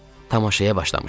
Tamaşaya başlamışdıq.